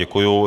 Děkuji.